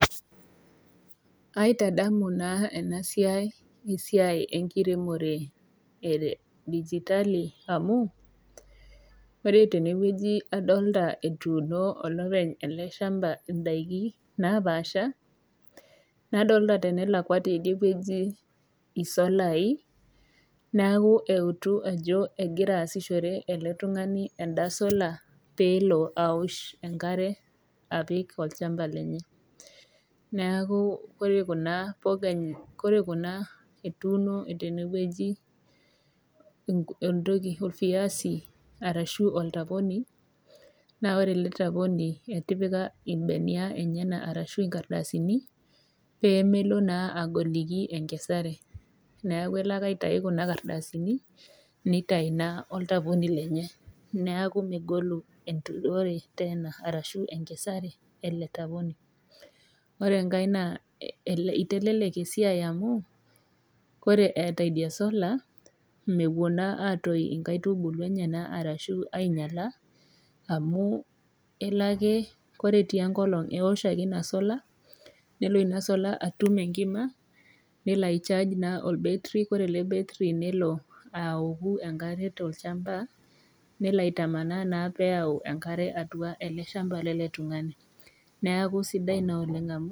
Aitadamu naa ena siai, esiai enkiremore e digitali amu, adolita etuuno olopeny ele shamba indaiki napaasha. Nadolita te enelakwa te idie wueji isolai, neaku eutu ajo egira aaishore elde tung'ani enda sola pee elo aosh enkare apik olchamba lenye. Neaku ore kuna pogaa etuuno teewueji olviazi arashu oltaponi, naa ore ele taponi etipika imbenia enyena anaa inkardasini pee melo naa agoliki enkesare, neaku elo ake aitayu kuna kardasini neitayu naa oltaponi lenye, neaku megolu enturore teena arashu enturore ele taponi. Ore enkai naa eitelelek esiai amu, ore eeta idia sola, mewuo naa atoyu inkaitubulu enyena arashu ainyala, amu elo ake ore etii enkolong' eosh ake ina sola nelo ina sola atum enkima nelo naa aicharge olbetri nelo aoku enkare tolchamba nelo aitamanaa naa pee eyau enkare atua ele shamba lele tung'ani, neaku sidai naa amu.